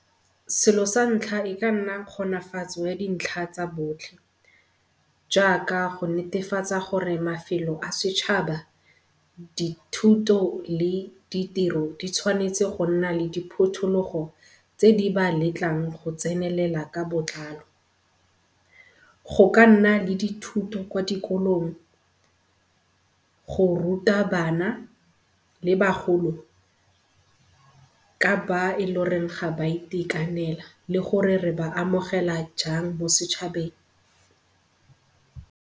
Selo sa ntlha e ka nna kgonafatso ya dintlha tsa botlhe jaaka go netefatsa gore mafelo a setšhaba, dithuto le ditiro di tshwanetse go nna le diphuthologo tse di ba letlang go tsenelela ka botlalo. Go ka nna le dithoto kwa dikolong go ruta bana le bagolo ka ba e ga ba itekanela le gore re ba amogela jang mo setšhabeng.